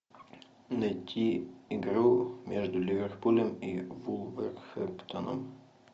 найти игру между ливерпулем и вулверхэмптоном